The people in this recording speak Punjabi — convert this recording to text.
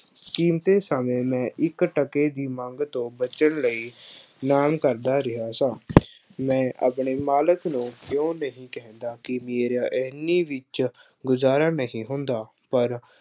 ਕੀਮਤੇ ਸਮੇਂ ਮੈਂ ਇੱਕ ਟਕੇ ਦੀ ਮੰਗ ਤੋਂ ਬਚਣ ਲਈ, ਐਲਾਨ ਕਰਦਾ ਰਿਹਾ ਸਾਂ। ਮੈਂ ਆਪਣੇ ਮਾਲਕ ਨੂੰ ਕਿਉਂ ਨਹੀਂ ਕਹਿੰਦਾ ਕਿ ਵੀਰਿਆ ਐਨੀ ਵਿੱਚ ਗੁਜ਼ਾਰਾ ਨਹੀਂ ਹੁੰਦਾ, ਪਰ